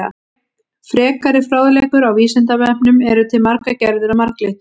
Frekari fróðleikur á Vísindavefnum: Eru til margar gerðir af marglyttum?